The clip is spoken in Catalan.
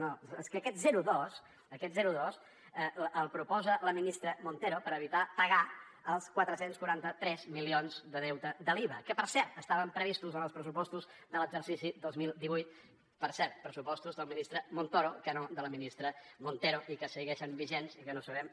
no és que aquest zero coma dos aquest zero coma dos el proposa la ministra montero per evitar pagar els quatre cents i quaranta tres milions de deute de l’iva que per cert estaven previstos en els pressupostos de l’exercici dos mil divuit per cert pressupostos del ministre montoro que no de la ministra montero i que segueixen vigents i que no sabem